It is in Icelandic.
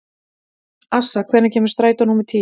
Assa, hvenær kemur strætó númer tíu?